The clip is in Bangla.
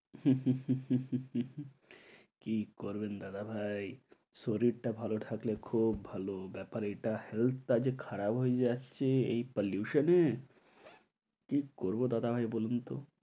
কী করবেন দাদা ভাই, শরীরটা ভালো থাকলে খুব ভালো। ব্যাপার এটা health টা যে খারাপ হয়ে যাচ্ছে এই pollution এ, কী করব দাদা ভাই বলুন তো।